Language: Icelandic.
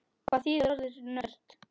Hvað þýðir orðið nörd?